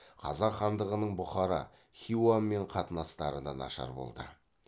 қазақ хандығының бұхара хиуамен қатынастары да нашар болды